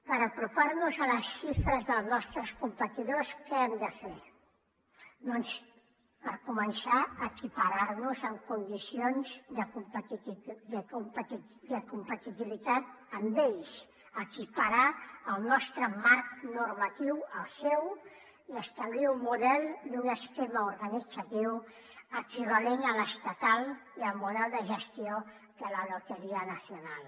per aproparnos a les xifres dels nostres competidors què hem de fer doncs per començar equipararnos en condicions de competitivitat amb ells equiparar el nostre marc normatiu al seu i establir un model i un esquema organitzatiu equivalents a l’estatal i al model de gestió de la lotería nacional